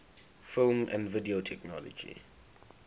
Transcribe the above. film and video technology